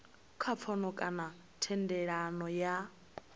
kha pfano kana thendelano ya